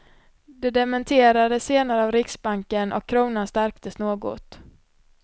Det dementerades senare av riksbanken och kronan stärktes något.